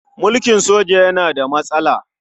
Mulkin soja yana da matsala.